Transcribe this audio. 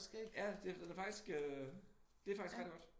Ja det den er faktisk øh det faktisk rigtig godt